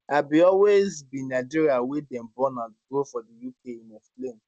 i bin always be nigerian wey dem born and grow for di uk im explain